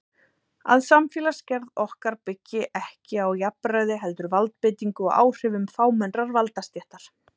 Að samfélagsgerð okkar byggi ekki á jafnræði heldur valdbeitingu og áhrifum fámennrar valdastéttar.